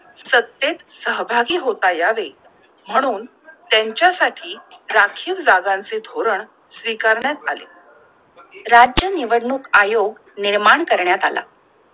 सत्तेत सहभागी होता यावे म्हणून तेंच्या साठी राखील जागांचे धोरण स्वीकारण्यात आले! राज्य निवडणूक आयोग निर्माण करण्यात आला!